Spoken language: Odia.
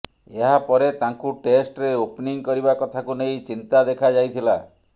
ଏହାପରେ ତାଙ୍କୁ ଟେଷ୍ଟରେ ଓପନିଂ କରିବା କଥାକୁ ନେଇ ଚିନ୍ତା ଦେଖାଯାଇଥିଲା